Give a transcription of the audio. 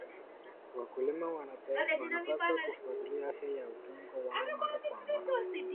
Wakulima wanapaswa kufuatilia afya ya udongo wao mara kwa mara.